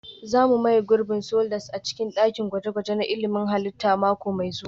Za mu maye gurbin sliders a cikin dakin gwaje-gwaje na ilmin halitta mako mai zuwa